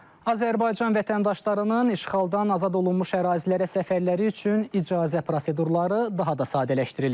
Azərbaycan vətəndaşlarının işğaldan azad olunmuş ərazilərə səfərləri üçün icazə prosedurları daha da sadələşdirilir.